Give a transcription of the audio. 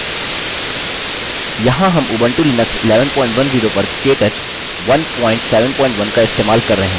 यहाँ हम Ubuntu Linux 1110 पर केटच 171 का इस्तेमाल कर रहे हैं